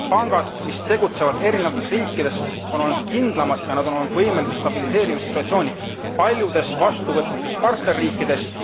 Pangad, mis tegutsevad erinevates riikides, on olnud kindlamad ja nad on olnud võimelised stabiliseerima situatsiooni paljudes vastuvõtvates partnerriikides.